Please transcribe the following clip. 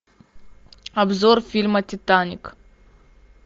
обзор фильма титаник